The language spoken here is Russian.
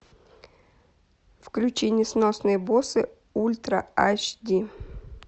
включи несносные боссы ультра аш ди